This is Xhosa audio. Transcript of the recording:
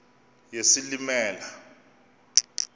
yesilimela